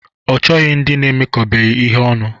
Ọ chọrọ ndị emekọbeghi ihe ọnụ